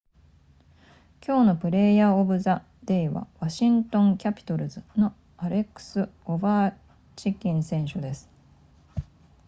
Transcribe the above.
今日のプレイヤーオブザデイはワシントンキャピトルズのアレックスオヴェーチキン選手です